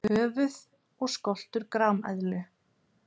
Höfuð og skoltur grameðlu.